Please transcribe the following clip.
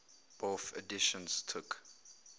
bofh editions took